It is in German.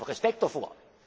konträr. Ich habe Respekt